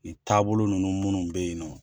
Nin taabolo ninnu minnu be yen nɔ